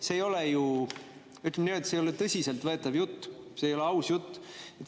See ei ole ju, ütleme nii, tõsiselt võetav jutt, see ei ole aus jutt.